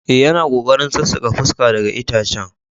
Eh, yana kokarin sassaka fuska daga itacen.